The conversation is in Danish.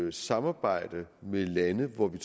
at samarbejde med lande hvor vi